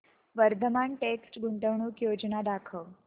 Vardhman text गुंतवणूक योजना दाखव